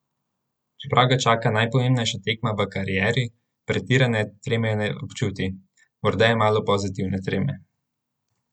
Čeprav ga čaka najpomembnejša tekma v karieri, pretirane treme ne občuti: 'Morda je malo pozitivne treme.